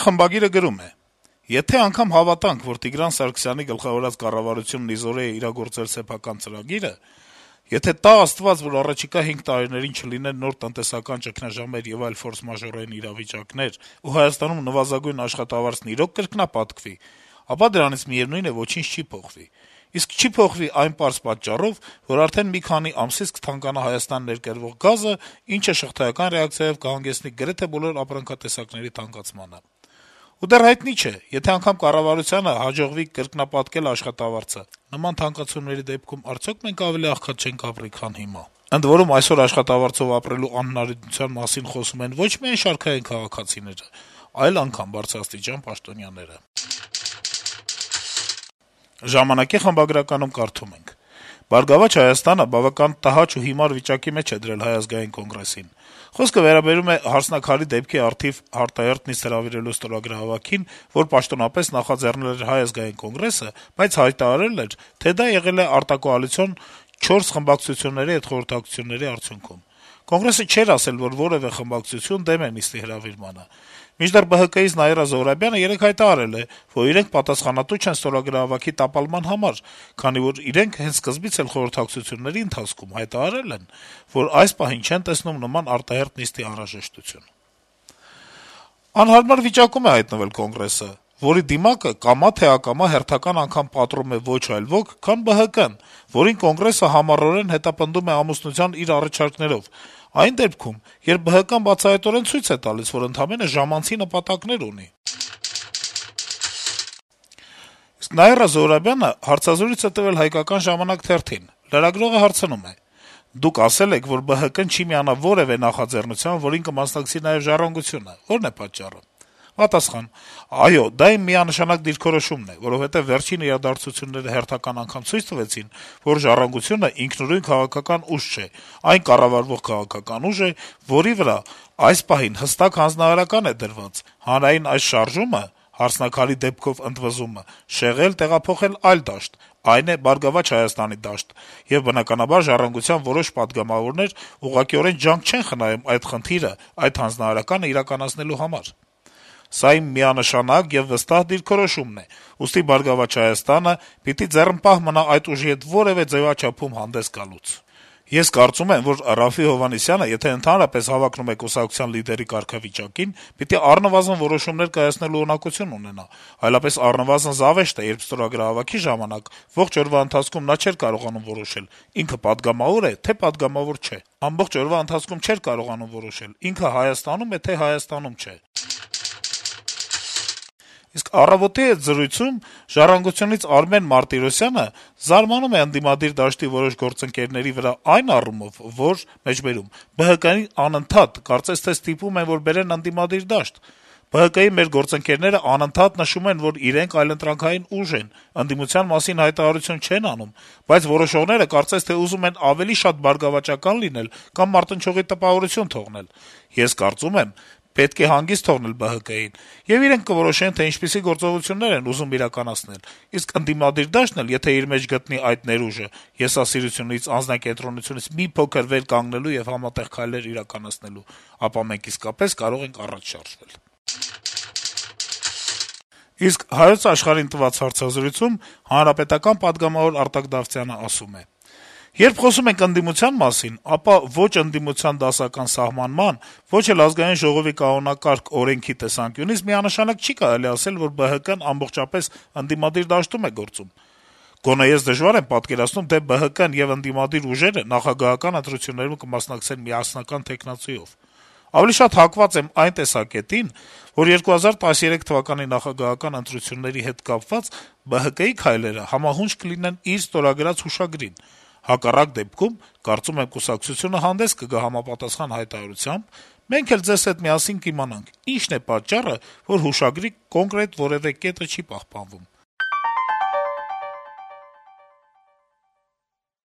խմբագիրը գրում է. - «Եթե անգամ հավատանք, որ Տիգրան Սարգսյանի գլխավորած կառավարությունն ի զորու է իրագործել սեփական ծրագիրը, եթե տա Աստված, որ առաջիկա հինգ տարիներին չլինեն նոր տնտեսական ճգնաժամեր եւ այլ ֆորսմաժորային իրավիճակներ, ու Հայաստանում նվազագույն աշխատավարձն իրոք կրկնապատկվի, ապա դրանից, միեւնույն է, ոչինչ չի փոխվի։ Իսկ չի փոխվի այն պարզ պատճառով, որ արդեն մի քանի ամսից կթանկանա Հայաստան ներկրվող գազը, ինչը շղթայական ռեակցիայով կհանգեցնի գրեթե բոլոր ապրանքատեսակների թանկացմանը։ Ու դեռ հայտնի չէ՝ եթե անգամ կառավարությանը հաջողվի կրկնապատկել աշխատավարձը, նման թանկացումների դեպքում արդյոք մենք ավելի աղքատ չենք ապրի, քան հիմա։ Ընդ որում, այսօր արդեն աշխատավարձով ապրելու անհնարինության մասին խոսում են ոչ միայն շարքային քաղաքացիները, այլեւ անգամ բարձրաստիճան պաշտոնյաները»: «Ժամանակ»-ի խմբագրականում կարդում ենք. - ««Բարգավաճ Հայաստան»-ը բավական տհաճ ու հիմար վիճակի մեջ է դրել Հայ ազգային կոնգրեսին: Խոսքը վերաբերում է «Հարսնաքար»-ի դեպքի առիթով արտահերթ նիստ հրավիրելու ստորագրահավաքին, որ պաշտոնապես նախաձեռնել էր Հայ ազգային կոնգրեսը, բայց հայտարարել էր, թե դա եղել է արտակոալիցիոն չորս խմբակցությունների հետ խորհրդակցությունների արդյունքում: Կոնգրեսը չէր ասել, որ որևէ խմբակցություն դեմ է նիստի հրավիրմանը: Մինչդեռ ԲՀԿ-ից Նաիրա Զոհրաբյանը հայտարարել է, որ իրենք պատասխանատու չեն ստորագրահավաքի տապալման համար, քանի որ իրենք հենց սկզբից էլ խորհրդակցությունների ընթացքում հայտարարել են, որ այս պահին չեն տեսնում նման արտահերթ նիստի անհրաժեշտություն: Անհարմար վիճակում է հայտնվել Կոնգրեսը, որի դիմակը, կամա թե ակամա, հերթական անգամ պատռում է ոչ այլ ոք, քան ԲՀԿ-ն, որին Կոնգրեսը համառորեն հետապնդում է «ամուսնության» իր առաջարկներով, այն դեպքում, երբ ԲՀԿ-ն բացահայտ ցույց է տալիս, որ ընդամենը «ժամանցի» նպատակներ ունի»: Նաիրա Զոհրաբյանը հարցազրույց է տվել «Հայկական ժամանակ» թերթին: Լրագրողը հարցնում է. - «Դուք ասել եք, որ ԲՀԿ-ն չի միանա որեւէ նախաձեռնության, որին կմասնակցի նաեւ «Ժառանգությունը», ո՞րն է պատճառը»: Պատասխան. - «Այո, դա իմ միանշանակ դիրքորոշումն է, որովհետեւ վերջին իրադարձությունները հերթական անգամ ցույց տվեցին, որ «Ժառանգությունը» ինքնուրույն քաղաքական ուժ չէ, այն կառավարվող քաղաքական ուժ է, որի վրա այս պահին հստակ հանձնարարական է դրված` հանրային այս շարժումը, ընդվզումը (նկատի ունի «Հարսնաքար»-ի գործը) շեղել, տեղափոխել այլ դաշտ, այն է` «Բարգավաճ Հայաստանի» դաշտը, եւ բնականաբար, «Ժառանգության» որոշ պատգամավորներ ուղղակիորեն ջանք չեն խնայում այդ խնդիրը, այդ հանձնարարականը իրականացնելու համար: Սա իմ միանշանակ եւ վստահ դիրքորոշումն է, ուստի «Բարգավաճ Հայաստան»-ը պիտի ձեռնպահ մնա այդ ուժի հետ որեւէ ձեւաչափում հանդես գալուց: Ես կարծում եմ, որ Րաֆֆի Հովհաննիսյանը, եթե ընդհանրապես հավակնում է կուսակցության լիդերի կարգավիճակին, պիտի առնվազն որոշումներ կայացնելու ունակություն ունենա, այլապես առնվազն զավեշտ է, երբ ստորագրահավաքի ժամանակ ողջ օրվա ընթացքում նա չէր կարողանում որոշել` ինքը պատգամավոր է, թե պատգամավոր չէ, ամբողջ օրվա ընթացքում չէր կարողանում որոշել` ինքը Հայաստանում է, թե Հայաստանում չէ»: «Առավոտ»-ի հետ զրույցում «Ժառանգություն»-ից Արմեն Մարտիրոսյանը զարմանում է, որ ընդդիմադիր դաշտի որոշ գործընկերներ «ԲՀԿ-ին անընդհատ, կարծես թե, ստիպում են, որ բերեն ընդդիմադիր դաշտ», եւ հավելում. - «ԲՀԿ-ի մեր գործընկերներն անընդհատ նշում են, որ իրենք այլընտրանքային ուժ են, ընդդիմության մասին հայտարարություն չեն անում, բայց որոշները, կարծես թե, ուզում են ավելի շատ բարգավաճական լինել կամ մարտնչողի տպավորություն թողնել: Ես կարծում եմ՝ պետք է հանգիստ թողնել ԲՀԿ-ին, եւ իրենք կորոշեն, թե ինչպիսի գործողություններ են ուզում իրականացնել: Իսկ ընդդիմադիր դաշտն էլ, եթե իր մեջ կգտնի այդ ներուժը՝ եսասիրությունից, անձնակենտրոնությունից մի փոքր վեր կանգնելու եւ համատեղ քայլեր իրականացնելու, ապա մենք, իսկապես, կարող ենք առաջ շարժվել»: «Հայոց Աշխարհ»-ի հետ հարցազրույցում պատգամավոր Արտակ Դավթյանը (ՀՀԿ) ասում է. - «Եթե խոսում ենք ընդդիմության մասին, ապա ո՛չ ընդդիմության դասական սահմանման, ո՛չ ԱԺ կանոնակարգ-օրենքի տեսանկյունից միանշանակ չի կարելի ասել, որ ԲՀԿ-ն ամբողջապես ընդդիմադիր դաշտում է գործում։ Գոնե ես դժվար եմ պատկերացնում, թե ԲՀԿ-ն եւ ընդդիմադիր ուժերը նախագահական ընտրություններում կմասնակցեն միասնական թեկնածուով։ Ավելի շատ հակված եմ այն տեսակետին, որ 2013թ. նախագահական ընտրությունների հետ կապված՝ ԲՀԿ-ի քայլերը համահունչ կլինեն իր ստորագրած հուշագրին։ Հակառակ դեպքում, կարծում եմ, կուսակցությունը հանդես կգա համապատասխան հայտարարությամբ, մենք էլ ձեզ հետ միասին կիմանանք՝ ինչն է պատճառը, որ հուշագրի կոնկրետ կետը չի պահպանում»։